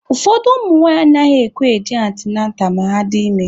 Ụfọdụ ụmụnwaanyị anaghịkwa eje antịnantal ma ha dị ime.